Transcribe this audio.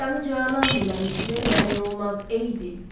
Canı canan diləmiş, verməmək olmaz, ey dil.